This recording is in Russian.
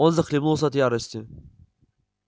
он захлебнулся от ярости